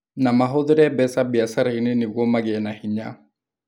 Na mahũthĩre mbeca biacara-inĩ nĩguo magĩe na hinya.